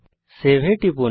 save এ টিপুন